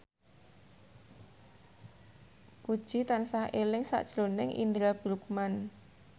Puji tansah eling sakjroning Indra Bruggman